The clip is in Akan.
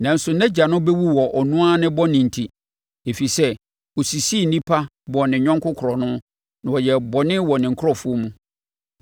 Nanso nʼagya no bɛwu wɔ ɔno ara bɔne enti, ɛfiri sɛ ɔsisii nnipa, bɔɔ ne yɔnko korɔno, na ɔyɛɛ bɔne wɔ ne nkurɔfoɔ mu.